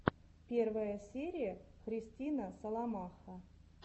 первая серия христина соломаха